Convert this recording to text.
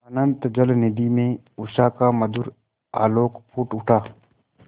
अनंत जलनिधि में उषा का मधुर आलोक फूट उठा